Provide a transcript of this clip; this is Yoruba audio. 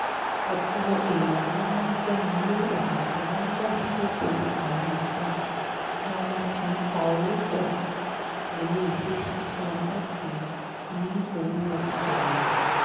ọ̀pọ̀ èèyàn ló máa ń gbára lé ọ̀nà tí wọ́n gbà ń ṣètò àwọn nǹkan tí wọ́n máa fi pawó pọ̀ kó lè ṣeé ṣe fún wọn láti ní owó ìfẹ̀yìntì